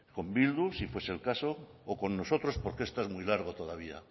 con bildu si fuese el caso o con nosotros porque esto es muy largo todavía